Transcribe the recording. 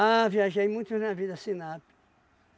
viajei em muito navio da Sinapi.